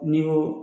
N'i ko